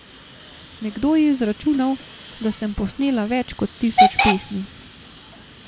Nekdo je izračunal, da sem posnela več kot tisoč pesmi.